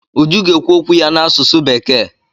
Uju ga-ekwu okwu ya n'asụsụ bekee.